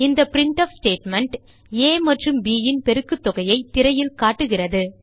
இந்த printf statement ஆ மற்றும் ப் ன் பெருக்குத்தொகையைத் திரையில் காட்டுகிறது